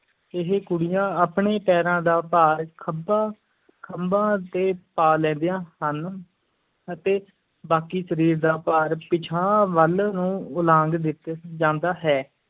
ਇਹ ਕੁੜੀਆਂ ਆਪਣੇ ਪੈਰਾਂ ਦਾ ਭਾਰ ਖੱਬਾਂ ਖੰਭਾਂ ਤੇ ਪਾ ਲੈਂਦੀਆਂ ਹਨ ਅਤੇ ਬਾਕੀ ਸਰੀਰ ਦਾ ਭਾਰ ਪਿਛਾਂਹ ਵੱਲ ਨੂੰ ਉਲਾਂਗ ਦਿੱਤਾ ਜਾਂਦਾ ਹੈ।